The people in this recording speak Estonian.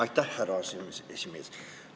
Aitäh, härra aseesimees!